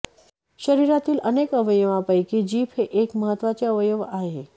शरीरातील अनेक अवयवांपैकी जीभ हे एक महत्त्वाचे अवयव आहे